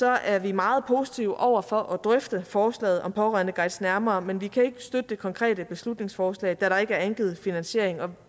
er vi meget positive over for at drøfte forslaget om pårørendeguides nærmere men vi kan ikke støtte det konkrete beslutningsforslag da der ikke er angivet finansiering